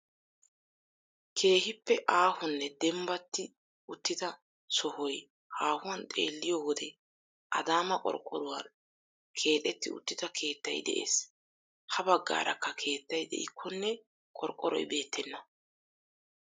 Keehippe aahonne dembbatti uttida sohoy haahuwan xeelliyo wode adaama qorqqoruwan keexetti uttida keettay de'ees. Ha baggaarakka keettay de'ikkonne qorqqoroy beettenna.